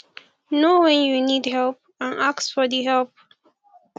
know when you need help and ask for di help